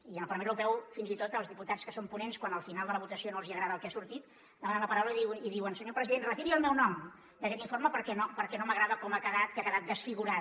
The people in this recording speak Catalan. i en el parlament europeu fins i tot els diputats que són ponents quan al final de la votació no els agrada el que ha sortit demanen la paraula i diuen senyor president retiri el nou nom d’aquest informe perquè no m’agrada com ha quedat que ha quedat desfigurat